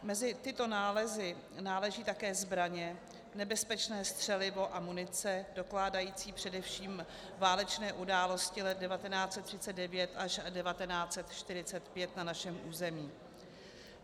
Mezi tyto nálezy náleží také zbraně, nebezpečné střelivo a munice dokládající především válečné události let 1939 až 1945 na našem území.